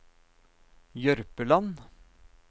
Jørpeland